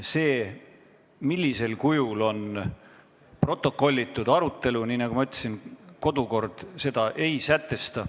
Seda, millisel kujul arutelu on protokollitud – nii, nagu ma ütlesin –, kodukord ei sätesta.